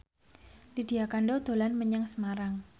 Lydia Kandou dolan menyang Semarang